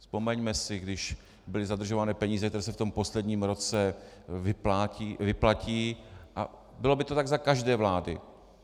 Vzpomeňme si, když byly zadržovány peníze, tak se v tom posledním roce vyplatí, a bylo by to tak za každé vlády.